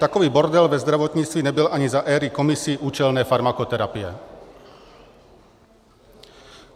- Takový bordel ve zdravotnictví nebyl ani za éry komisí účelné farmakoterapie.